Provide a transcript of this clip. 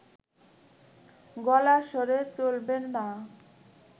গলার স্বরে চলবে না